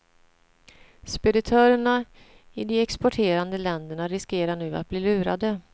Speditörerna i de exporterande länderna riskerar nu att bli lurade.